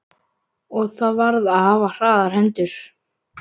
Og þar varð að hafa hraðar hendur.